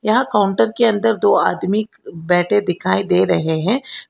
यह काउंटर के अंदर दो आदमी बैठे दिखाई दे रहे हैं।